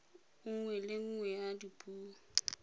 nngwe le nngwe ya dipuo